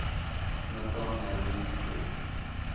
Natanael Lindskog